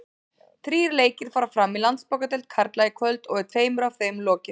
Þrír leikir fara fram í Landsbankadeild karla í kvöld og er tveimur af þeim lokið.